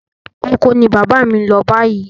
Oko ni bàbá mi ń lọ báyìí.